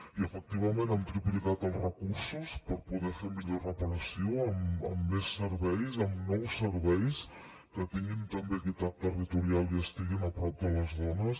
i efectivament hem triplicat els recursos per poder fer millor reparació amb més serveis amb nous serveis que tinguin també equitat territorial i estiguin a prop de les dones